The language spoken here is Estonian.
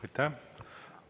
Aitäh!